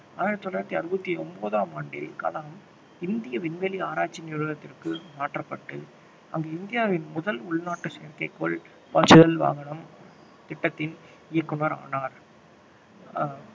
ஆயிரத்தி தொள்ளாயிரத்தி அறுபத்தி ஒன்பதாம் ஆண்டில் கலாம் இந்திய விண்வெளி ஆராய்ச்சி நிறுவனத்திற்கு மாற்றப்பட்டு அங்கு இந்தியாவின் முதல் உள்நாட்டு செயற்கைக்கோள் பாய்ச்சுதல் வாகனம் திட்டத்தின் இயக்குனர் ஆனார் அஹ்